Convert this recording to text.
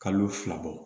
Kalo fila bɔ